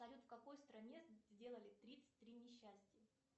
салют в какой стране сделали тридцать три несчастья